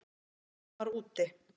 Meðan hann var úti?